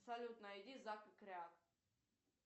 салют найди зак и кряк